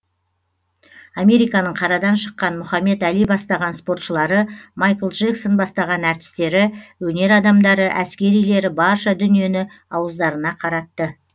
американың қарадан шыққан мұхамед али бастаған спортшылары майкл джексон бастаған әртістері өнер адамдары әскерилері барша дүниені ауыздарына қаратты